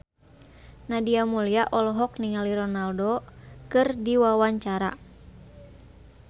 Nadia Mulya olohok ningali Ronaldo keur diwawancara